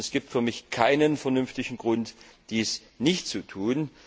Denn es gibt für mich keinen vernünftigen Grund, dies nicht zu tun.